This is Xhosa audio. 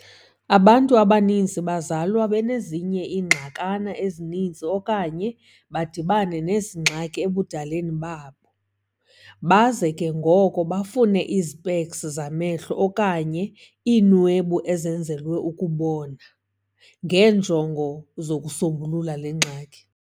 Abantu abaninzi bazalwa benezinye ingxakana ezininzi okanye badibane nezi ngxaki ebudaleni babo, baze ke ngoko bafune izpeks zamehlo, okanye "iinwebu ezenzelwe ukubona", ngeenjongo zokusombulula le ngxaki.